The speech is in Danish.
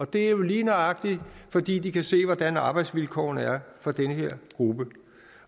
det er jo lige nøjagtig fordi de kan se hvordan arbejdsvilkårene er for den her gruppe